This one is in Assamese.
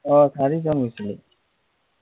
অ চাৰিজন গৈছিলোঁ।